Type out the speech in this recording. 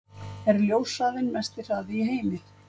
Er ljóshraðinn mesti hraði í heimi?